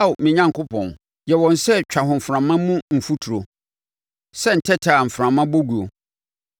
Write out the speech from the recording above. Ao me Onyankopɔn, yɛ wɔn sɛ twahoframa mu mfuturo, sɛ ntɛtɛ a mframa bɔ guo.